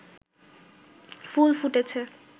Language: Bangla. ফুল ফুটেছে